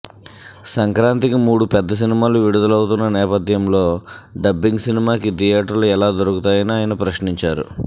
సంక్రాంతికి మూడు పెద్ద సినిమాలు విడుదలవుతున్న నేపధ్యంలో డబ్బింగ్ సినిమాకి థియేటర్లు ఎలా దొరుకుతాయని ఆయన ప్రశ్నించారు